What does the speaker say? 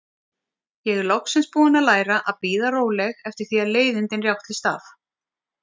Ég er loksins búin að læra að bíða róleg eftir því að leiðindin rjátlist af.